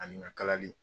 Ani ka kalali